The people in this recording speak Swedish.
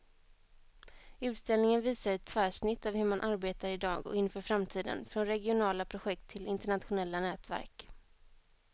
Utställningen visar ett tvärsnitt av hur man arbetar i dag och inför framtiden, från regionala projekt till internationella nätverk.